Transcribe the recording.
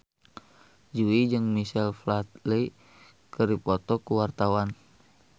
Jui jeung Michael Flatley keur dipoto ku wartawan